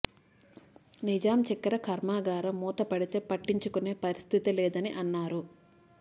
నిజాం చక్కెర కార్మాగారం మూత పడితే పట్టించుకునే పరిస్థితి లేదని అన్నారు